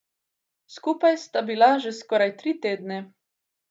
Skupaj sta bila že skoraj tri tedne.